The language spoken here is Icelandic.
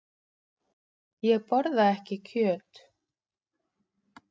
Ég borða ekki kjöt.